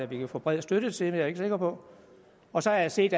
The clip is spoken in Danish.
vi kan få bred støtte til jeg er ikke sikker på og så har jeg set